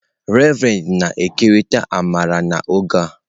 Reverend na-ekerịta amara n'oge a.